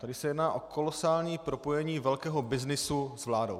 Tady se jedná o kolosální propojení velkého byznysu s vládou.